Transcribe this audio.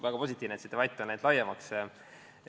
Väga positiivne, et see debatt on läinud laiemaks.